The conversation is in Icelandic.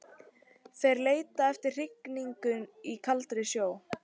Þeir leita eftir hrygningu í kaldari sjó.